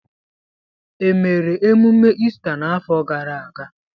Emere emume Ista n'afọ gara aga.